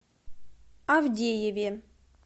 авдееве